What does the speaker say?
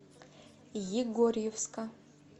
егорьевска